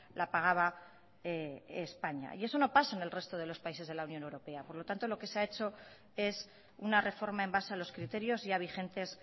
la pagaba españa y eso no pasa en el resto de los países de la unión europea por lo tanto lo que se ha hecho es una reforma en base a los criterios ya vigentes